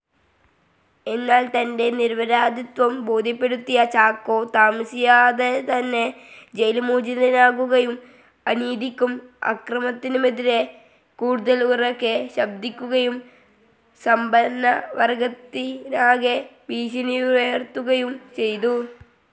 എന്നാൽ തൻ്റെ നിരപരാധിത്വം ബോധ്യപ്പെടുത്തിയ ചാക്കോ താമസിയാതെതന്നെ ജയിൽമോചിതനാകുകയും അനീതിക്കും അക്രമത്തിനുമെതിരെ കൂടുതൽ ഉറക്കെ ശബ്ദിക്കുകയും സമ്പന്നവർഗത്തിനാകെ ഭീഷണിയുയർത്തുകയും ചെയ്തു.